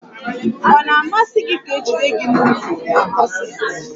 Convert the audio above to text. Ọ na-amasi gi ka e jide gi n'ukwu n'kọseti